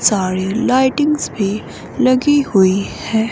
सारे लाइटिंग्स भी लगी हुई है।